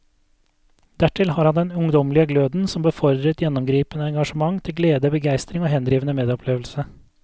Dertil har han den ungdommelige gløden som befordrer et gjennomgripende engasjement til glede, begeistring og henrivende medopplevelse.